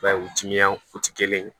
I b'a ye u timinankuti kelen ye